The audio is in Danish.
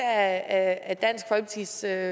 at vi især i